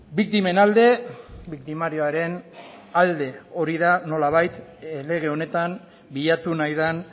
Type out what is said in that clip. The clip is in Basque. biktimen alde biktimarioaren alde hori da nolabait lege honetan bilatu nahi den